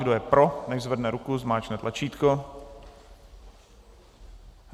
Kdo je pro, nechť zvedne ruku, zmáčkne tlačítko.